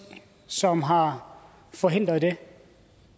som har forhindret det